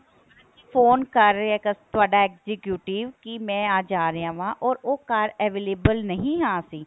phone ਕਰ ਰਿਹਾ ਹੈ ਤੁਹਾਡਾ executive ਕੀ ਮੈਂ ਅੱਜ ਆ ਰਿਹਾ ਵਾ or ਉਹ ਘਰ available ਨਹੀਂ ਹਾਂ ਅਸੀਂ